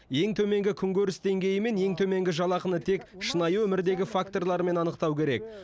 ең төменгі күнкөріс деңгейі мен ең төменгі жалақыны тек шынайы өмірдегі факторлармен анықтау керек